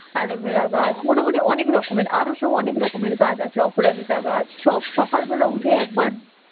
aloe vera গাছ মোটামুটি অনেক রকমের আরও সব অনেক রকমের গাছ আছে. অপরাজিতা গাছ, স~ সকালবেলা উঠে একবার